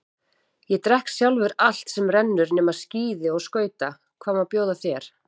Ég drekk sjálfur allt sem rennur nema skíði og skauta, hvað má bjóða þér?